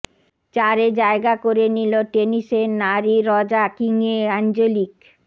চারে জায়গা করে নিল টেনিসের নারী র্যাং কিংয়ে অ্যাঞ্জেলিক